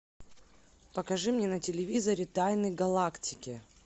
покажи мне на телевизоре тайны галактики